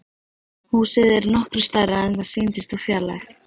Húsið er nokkru stærra en það sýndist úr fjarlægð.